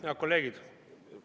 Head kolleegid!